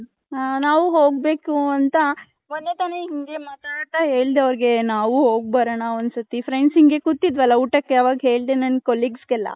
ಹ ನಾವು ಹೋಗ್ಬೇಕು ಅಂತ ಮೊನ್ನೆ ತಾನೆ ಹಿಂಗೆ ಮಾತಾಡ್ತಾ ಹೇಳ್ದೆ ಅವರ್ಗೆ ನಾವು ಹೋಗಬರೋಣ ಒಂದ್ ಸತಿ friends ಇಂಗೆ ಕುತಿದ್ವಲ್ಲ ಉಟಕ್ ಅವಾಗ್ ಹೇಳ್ದೆ ನನ್ನ colleagues ಗೆಲ್ಲ .